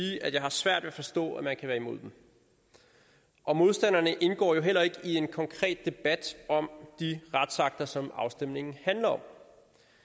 jeg har svært ved at forstå man kan være imod og modstanderne indgår jo heller ikke i en konkret debat om de retsakter som afstemningen handler om